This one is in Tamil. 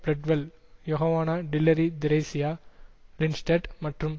பிரெட்வெல் யொகவான டில்லரி திரேசியா லின்ஸ்டட் மற்றும்